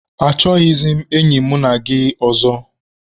Achọghịzị m enyi mụ na gị ọzọ.